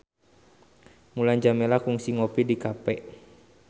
Mulan Jameela kungsi ngopi di cafe